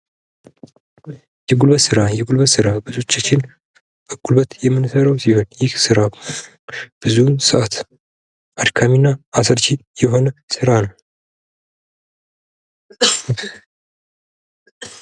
የጉልበት ስራ ፦ የጉልበት ስራ ብዙዎቻችን በጉልበት የምንሠራው ሲሆን ይህ ስራ ብዙውን ሰዓት አድካሚ እና አሰልቺ የሆነ ስራ ነው ።